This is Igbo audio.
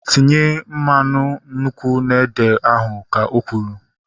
Tinye mmanụ nkwụ n'ede ahu! Ka o kwuru